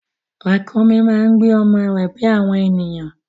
Ràkúnmí máa ń gbé ọmọ rẹ bí àwọn ènìyàn.